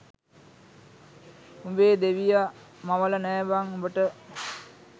උඹේ දෙවිය මවල නෑ බං උඹට.